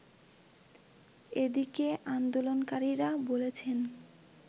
এদিকে আন্দোলনকারীরা বলছেন